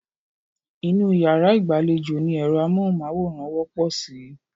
Inú yàrá ìgbàlejò ni ẹ̀rọ amóhùnmáwòrán wọ́pọ̀ sí.